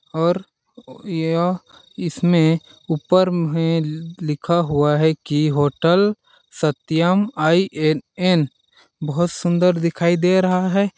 और यह इसमें ऊपर में लिखा हुआ है कि होटल सत्यम आई.ऐन.ऐन. बहोत सुंदर दिखाई दे रहा है।